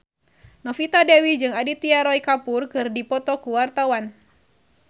Novita Dewi jeung Aditya Roy Kapoor keur dipoto ku wartawan